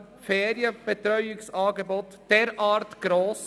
Wir sehen uns wieder um 13.30 Uhr.